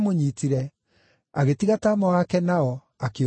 agĩtiga taama wake nao, akĩũra e njaga.